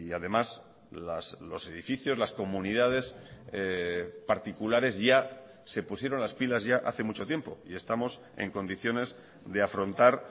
además los edificios las comunidades particulares ya se pusieron las pilas ya hace mucho tiempo y estamos en condiciones de afrontar